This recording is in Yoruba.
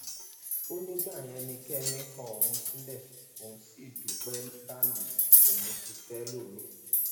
ó ní ìgbà yẹn ni kẹmi kọ òun sílẹ òun sì dúpẹ báyìí òun ti fẹ ẹlòmíín